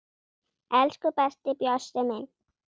Elsku besti Bjössi minn.